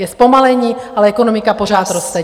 Je zpomalení, ale ekonomika pořád roste.